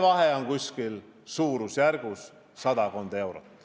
Vahe on sadakond eurot.